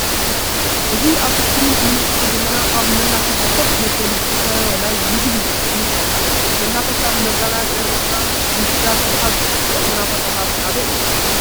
እዚ አብ እስክሪን እንምልከቶ ዘለና አብ መናፈሻ ከፍ መበሊ ዝከበበ ናይ መመገቢ ንምልከት አለና::መናፈሻ ንመዘናግዒ ርእስና ንምሕዳስ ካብ ዝጠቅሙና ቦታታት ሓደ እዩ::